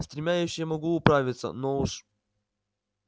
с тремя я ещё могу управиться но уж